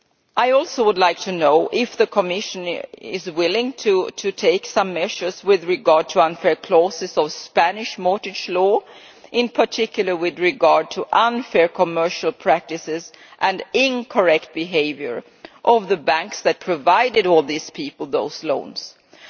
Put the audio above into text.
I would like to know, too, if the Commission is willing to take measures with regard to unfair clauses in Spanish mortgage law, in particular with regard to unfair commercial practices and the incorrect behaviour of the banks that provided all these people with the loans in question.